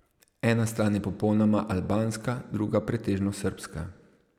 Ena stran je popolnoma albanska, druga pretežno srbska.